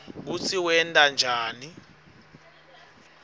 kutsi wenta njani